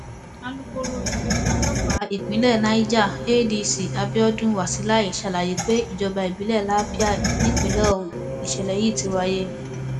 alūkọrọ iléeṣẹ ọlọpàá ìpínlẹ niger adc abiodun wasilai sàlàyé pé ìjọba ìbílẹ lápàì nípìnlẹ ọhún nìṣẹlẹ yìí ti wáyé